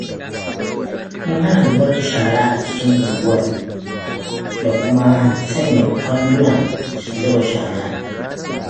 Mun hana zubar da shara a cikin unguwa, da kuma sanya kwandunan zuba shara.